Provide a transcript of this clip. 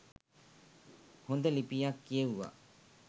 හොඳ ලිපියක් කියෙව්වා.